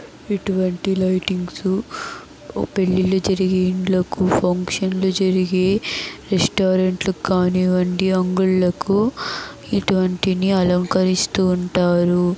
ఇటువంటి లైటింగ్స్ పెళ్లిళ్లు జరిగే ఇండ్లకు ఫంక్షన్ లు జరిగే రెస్టారెంట్ లకు కానివ్వండి అంగుళ్ళకు ఇటువంటిని అలంకరిస్తూ ఉంటారు.